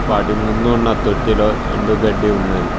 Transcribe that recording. వాటి ముందు ఉన్న తొట్టిలో ఎండు గడ్డి ఉన్నది.